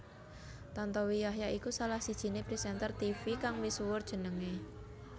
Tantowi Yahya iku salah sijiné presenter tivi kang misuwur jenengé